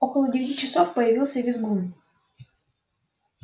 около девяти часов появился визгун